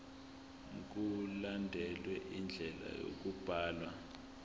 mkulandelwe indlela yokubhalwa